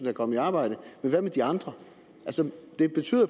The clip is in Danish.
er kommet i arbejde men hvad med de andre det betyder